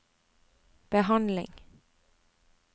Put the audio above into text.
behandling